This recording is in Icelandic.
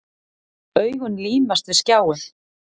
Augun límast við skjáinn.